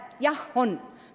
Jah, on.